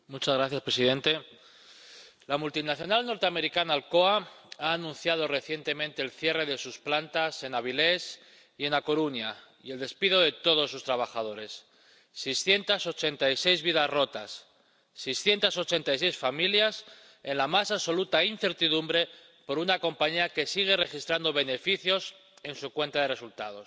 Señor presidente, la multinacional norteamericana Alcoa ha anunciado recientemente el cierre de sus plantas en Avilés y en A Coruña y el despido de todos sus trabajadores 686 vidas rotas, 686 familias en la más absoluta incertidumbre por una compañía que sigue registrando beneficios en su cuenta de resultados.